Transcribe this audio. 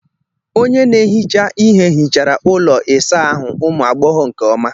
Onye na-ehicha ihe hichara ụlọ ịsa ahụ ụmụ agbọghọ nke ọma